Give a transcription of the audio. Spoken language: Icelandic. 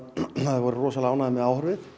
voru rosalega ánægðir með áhorfið